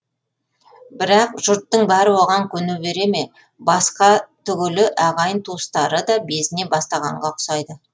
бірақ жұрттың бәрі оған көне бере ме басқа түгілі ағайын туыстары да безіне бастағанға ұқсайды